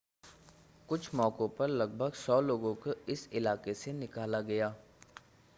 कुछ मौकों पर लगभग 100 लोगों को इस इलाके से निकाला गया